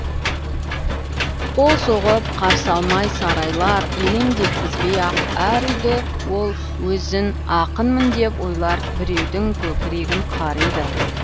қол соғып қарсы алмай сарайлар елеңдеткізбей ақ әр үйді ол өзін ақынмын деп ойлар біреудің көкірегін қариды